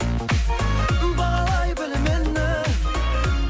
бағалай біл мені